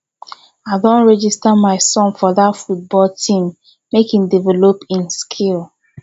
i don register my son for dat football team make e develop im skill